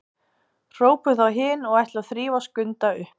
hrópuðu þá hin og ætluðu að þrífa Skunda upp.